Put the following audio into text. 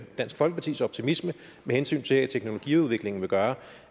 dansk folkepartis optimisme med hensyn til at teknologiudviklingen vil gøre